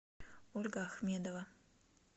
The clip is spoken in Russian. ольга ахмедова